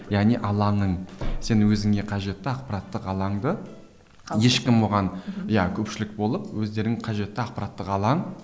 яғни алаңның сен өзіңе қажетті ақпараттық алаңды ешкім оған иә көпшілік болып өздерің қажетті ақпараттық алаң